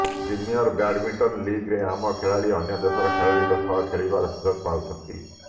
premier badminton ଲିଗ୍ରେ ଆମ ଖେଳାଳି ଅନ୍ୟ ଦେଶର ଖେଳାଳିଙ୍କ ସହ ଖେଳିବାର ସୁଯୋଗ ପାଉଛନ୍ତି